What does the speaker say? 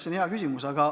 See on hea küsimus.